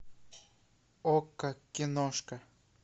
окко киношка